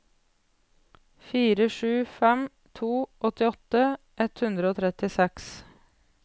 fire sju fem to åttiåtte ett hundre og trettiseks